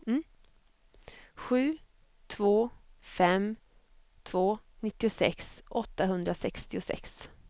sju två fem två nittiosex åttahundrasextiosex